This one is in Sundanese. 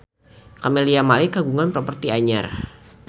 Camelia Malik kagungan properti anyar